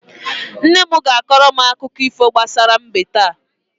Nne m ga-akọrọ m akụkọ ifo gbasara mbe taa.